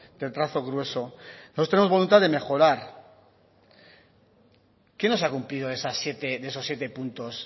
de trazo grueso nosotros tenemos voluntad de mejorar qué no se ha cumplido de esos siete puntos